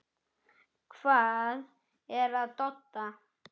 Hvað er að Dodda?